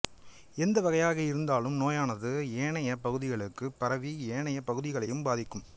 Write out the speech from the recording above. எந்த வகையாக இருந்தாலும் நோயானது ஏனைய பகுதிகளுக்குப் பரவி ஏனைய பகுதிகளையும் பாதிக்கும்